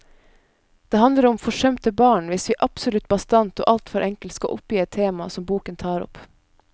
Det handler om forsømte barn, hvis vi absolutt bastant og alt for enkelt skal oppgi et tema som boken tar opp.